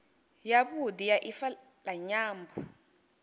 yavhudi ya ifa la nyambo